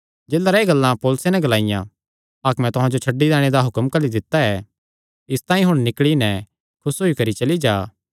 जेलरैं एह़ गल्लां पौलुसे नैं ग्लाईयां हाकमे तुहां जो छड्डी दैणे दा हुक्म घल्ली दित्ता ऐ इसतांई हुण निकल़ी नैं खुस होई करी चली जा